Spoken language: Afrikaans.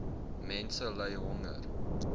mense ly honger